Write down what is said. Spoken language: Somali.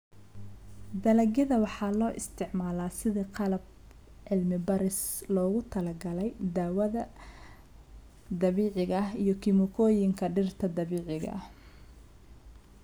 Dalagyada waxaa loo isticmaalaa sidii qalab cilmi baaris oo loogu talagalay daawada dabiiciga ah iyo kiimikooyinka dhirta dabiiciga ah.